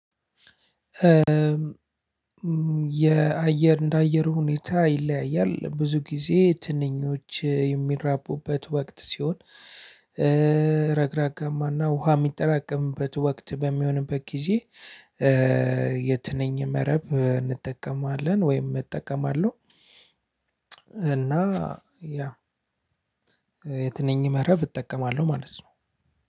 የአየር እንደ አየሩ ሁኔታ ይለያያል ብዙ ጊዜ ትንኞች የሚራቡበት ወቅት ሲሆን ረግረጋማና ውሃ የሚጠራቀምበት ወቅት በሚሆንበት ጊዜ የትንኝን መረብ እንጠቀማለን ወይም እጠቀማለሁ። እና ያው የትንኝ መረብ እጠቃማለሁ ማለት ነው።